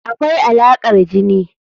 Akwai Alaƙar jini.